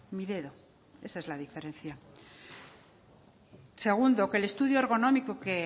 mi dedo esa es la diferencia segundo que el estudio ergonómico que